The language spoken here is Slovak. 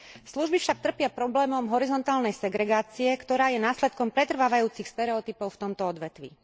Služby však trpia problémom horizontálnej segregácie, ktorá je následkom pretrvávajúcich stereotypov v tomto odvetví.